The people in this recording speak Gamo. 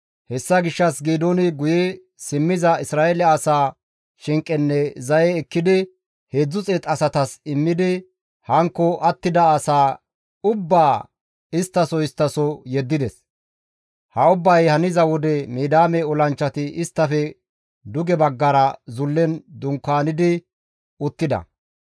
Hessa gishshas Geedooni guye simmiza Isra7eele asaa shinqenne zaye ekkidi 300 asatas immidi hankko attida asaa ubbaa istta soo istta soo yeddides; ha ubbay haniza wode Midiyaame olanchchati isttafe duge baggara zullen dunkaanidi uttida.